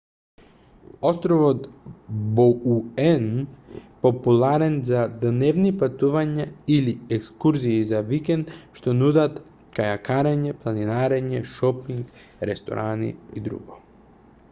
островот боуен е популарен за дневни патувања или екскурзии за викенд што нудат кајакарење планинарење шопинг ресторани и друго